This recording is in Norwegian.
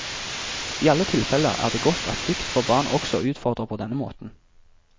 I alle tilfelle er det godt at dikt for barn også utfordrer på denne måten.